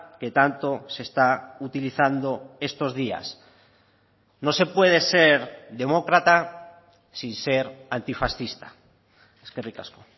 que tanto se está utilizando estos días no se puede ser demócrata sin ser antifascista eskerrik asko